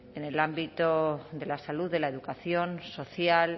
en el ámbito de la salud de la educación social